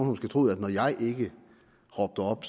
måske troet at når jeg ikke råbte op